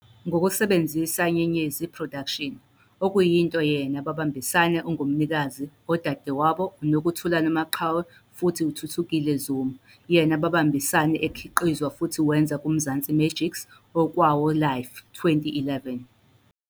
Ngokusebenzisa Nyenyedzi Productions, okuyinto yena babambisane ungumnikazi odadewabo uNokuthula Nomaqhawe futhi Thuthukile Zuma, yena babambisane ekhiqizwa futhi wenza kuMzansi Magic 's "Okwawo Life," 2011